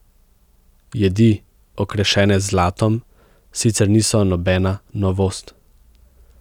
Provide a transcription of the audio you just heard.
Jedi, okrašene z zlatom, sicer niso nobena novost.